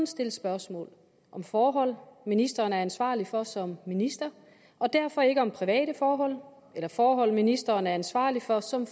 stilles spørgsmål om forhold ministeren er ansvarlig for som minister og derfor ikke om private forhold eller forhold ministeren er ansvarlig for som